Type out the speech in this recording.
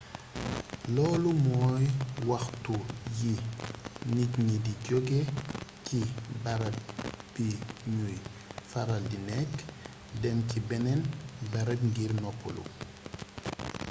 loolu mooy waxtu wi nit ñi di joge ci barab bi ñuy faral di nekk dem ci beneen barab ngir noppalu